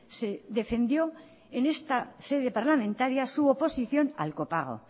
se defendió en esta sede parlamentaria su oposición al copago